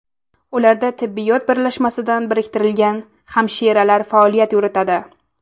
Ularda tibbiyot birlashmasidan biriktirilgan hamshiralar faoliyat yuritadi.